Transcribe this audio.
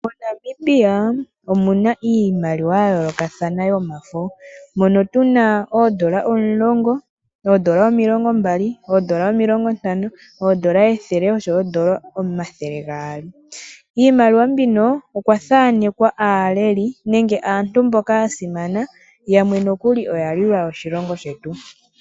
MoNamibia omu na iimaliwa ya yoolokathana yomafo. Mono tu na oondola omulongo, oondola omilongo mbali, oondola omilongo ntano, oondola ethele oshowo oondola omathele gaali. Kiimaliwa mbino okwa thaanekwa aaleli nenge aantu mboka ya simana, yamwe nokuli oya lwila oshilongo shetu.